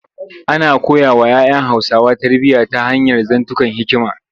Ana koyawa ‘ya ‘yan Hausawa tarbiyya ta hanyar zantukan hikima.